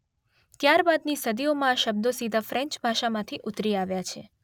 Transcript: ત્યારબાદની સદીઓમાં આ શબ્દો સીધા ફ્રેન્ચ ભાષામાંથી ઉતરી આવ્યા છે.